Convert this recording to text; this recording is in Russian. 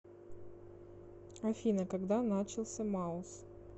афина когда начался маус